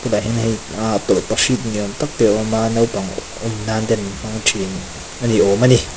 tah hian hei aa tawlhpahrit ni awm tak te a awm a naupang awm nan ten an hmang ṭhin ani awm ani.